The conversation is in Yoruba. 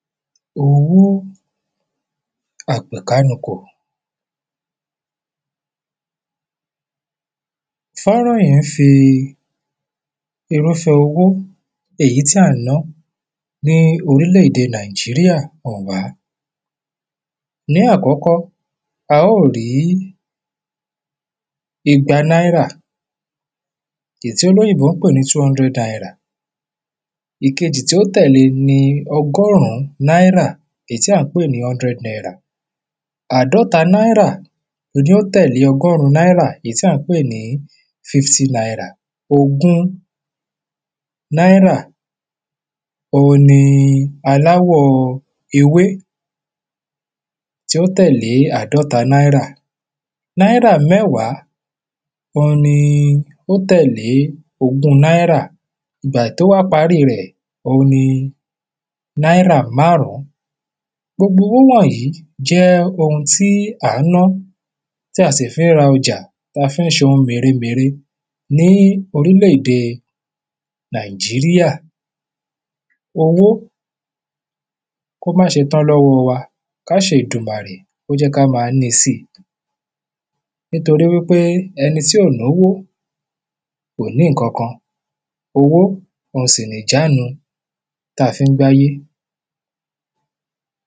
owó àpèkánukò fọ́nrán yẹn fi irúfẹ̀ owó èyí tí à ń ná ní orílẹ̀ èdè nàìjíríà hàn wá ní àkọ́kọ́ a ó rí igba náírà ìyí tí olóyìnbó ń pè ní tú ondrẹ̀d nairà ìkejì tí ó tẹ̀lé e ni ọgọ́rún náírà èyí tí à ń pè ní ondrẹ́d nairà àádọ́ta náírà ni ó tẹ̀lé ọgọ́rún náírà èyí tí à ń pè ní fíftí nairà ogún náírà ohun ni aláwọ̀ ewé tí ó tẹ̀lé àádọ́ta náírà náírà mẹ́wàá oun ni ó tẹ̀lé ogún náírà bàì tó wá parí rẹ̀ oun ni náírà márùn-ún gbogbo owó wọ̀nyìí jẹ́ oun tí à ń ná tí a sì fi ń ra ọjà ta a fi ń ṣe ohun mèremère ní orílẹ̀de nàìjíríà owó kó máa ṣe tán lọ́wọ́ wa ká ṣẹ èdùmàrè kó jẹ́ ká máa níi si nítorí wípé ẹni tí ò nówó kò ní ǹkankan owó oun sì nìjánu tá a fi ń gbáyé